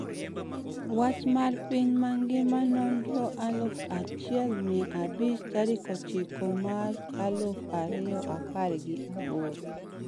Wach mar piny mangima Nonro aluf achiel mia abich tarik ochiko mach aluf ariyo apar gi aboro